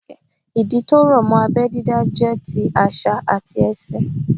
Ìdí tó rọ̀ mọ́ abẹ́ dídá jẹ́ ti àṣà àti ẹ̀sìn